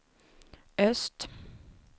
öst